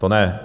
To ne!